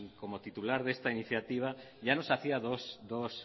como titular de esta iniciativa ya nos hacía dos